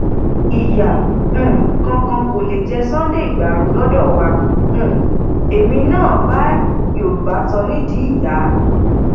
ìyá um kankan kò lè jẹ sunday igbárò lọdọ wa um èmi náà bá yorùbá tan nídìí ìyá